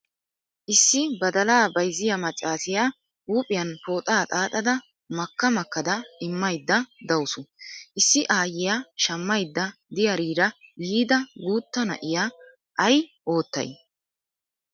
Issi badala bayzziya maccaasiya huuphiyan pooxaa xaaxada makka makkada immayda dawus. Issi aayyiya shammaydda diyariira yiida guutta na'iya ay oottay?